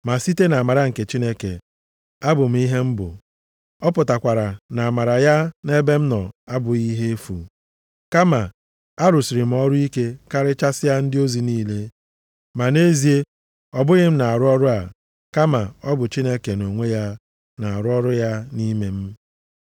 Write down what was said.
Ma site nʼamara nke Chineke, abụ m ihe m bụ. Ọ pụtakwara na amara ya nʼebe m nọ abụghị ihe efu. Kama arụsịrị m ọrụ ike karịchasịa ndị ozi niile. Ma nʼezie, ọ bụghị m na-arụ ọrụ a, kama ọ bụ Chineke nʼonwe ya na-arụ ọrụ ya nʼime m.